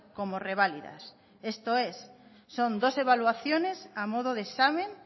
como reválidas esto es son dos evaluaciones a modo de examen